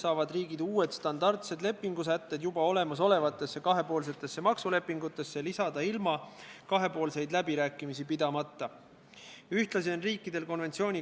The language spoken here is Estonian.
Artikli 15 kohaselt peab raudteeveo-ettevõtja sõltumata süü olemasolust võtma vastutuse reisija eest alati enda peale ning hiljem ise lahendama kulude küsimused süüdi olnud osapoolega.